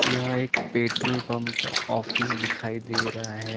यह एक petrol pump का ऑफिस दिखाई दे रहा है।